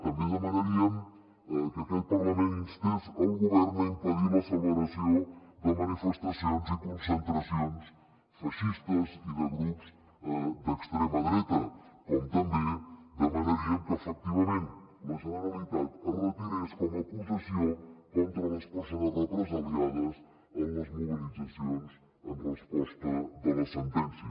també demanaríem que aquest parlament instés el govern a impedir la celebració de manifestacions i concentracions feixistes i de grups d’extrema dreta com també demanaríem que efectivament la generalitat es retirés com a acusació contra les persones represaliades en les mobilitzacions en resposta de la sentència